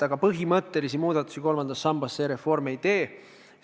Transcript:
Aga põhimõttelisi muudatusi kolmandas sambas selle reformiga ei tehta.